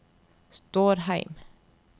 Stårheim